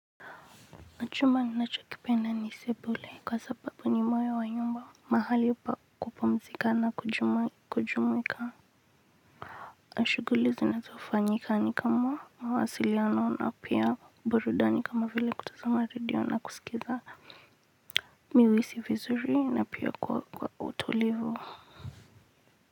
Chumba ninacho kipenda ni sebule kwa sababu ni moyo wa nyumba mahali ya kupumzika na kujumuika na shughuli zinazofanyika ni kama mawasiliano na pia burudani kama vile kutazama radio na kusikiza mihuhisi vizuri na pia kwa utulivu.